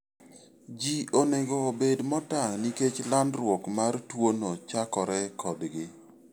Ji onego obed motang' nikech landruok mar tuono chakore kodgi.